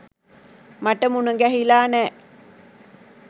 මට මුණගැහිලා නෑ.